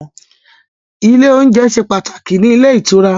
Ile oúnjẹ ṣe pàtàkì ní ilé ìtura